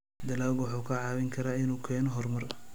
Dalaggu wuxuu kaa caawin karaa inuu keeno horumar.